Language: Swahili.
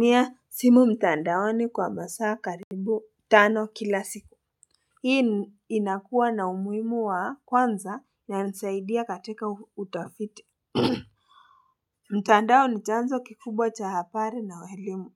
Mia simu mtandaoni kwa masaa karibu tano kila siku hii inakuwa na umuhimu wa kwanza inanisaidia katika utafiti mtandao ni chanzo kikubwa cha habari na elimu